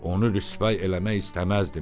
Onu rüsvay eləmək istəməzdim.